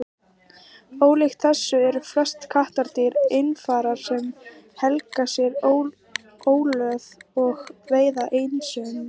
ólíkt þessu eru flest kattardýr einfarar sem helga sér óðöl og veiða einsömul